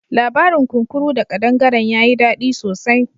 Labarin kunkuru da ƙadangaren ya yi dadi sosai.